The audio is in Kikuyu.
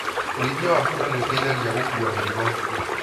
Ũrĩithia wa bunda nĩ ũteithagia gũkua mĩrigo